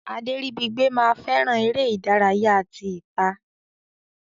Aderibigbe ma fẹràn eré ìdárayá tí ita.